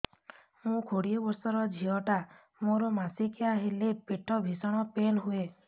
ମୁ କୋଡ଼ିଏ ବର୍ଷର ଝିଅ ଟା ମୋର ମାସିକିଆ ହେଲେ ପେଟ ଭୀଷଣ ପେନ ହୁଏ